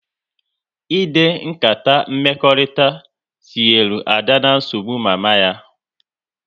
Ịde nkata mmekọrịta tinyere Ada na nsogbu mama ya